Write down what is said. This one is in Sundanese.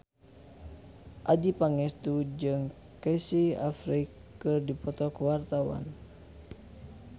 Adjie Pangestu jeung Casey Affleck keur dipoto ku wartawan